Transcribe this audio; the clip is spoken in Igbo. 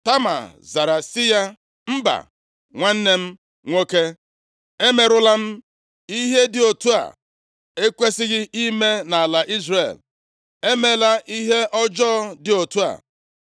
Tama zara sị ya, “Mba! Nwanne m nwoke. Emerụla m. Ihe dị otu a ekwesighị ime nʼala Izrel. Emela ihe ọjọọ dị otu a.